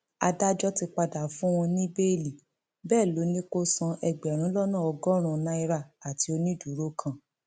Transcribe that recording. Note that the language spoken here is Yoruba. adájọ ti padà fún un ní bẹẹlí bẹẹ ló ní kó san ẹgbẹrún lọnà ọgọrùnún náírà àti onídùúró kan